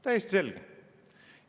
Täiesti selge!